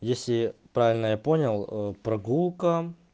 если правильно я понял прогулка